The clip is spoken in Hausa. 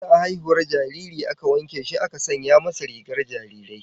Ana haihuwar jaririn aka wanke shi aka sanya masa rigar jarirai